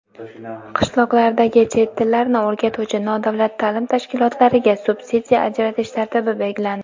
Qishloqlardagi chet tillarini o‘rgatuvchi nodavlat ta’lim tashkilotlariga subsidiya ajratish tartibi belgilandi.